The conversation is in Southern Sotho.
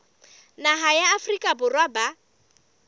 naha ya afrika borwa ba